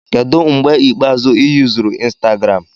Kedu mgbe ikpeazụ ị yuzuru Instagram?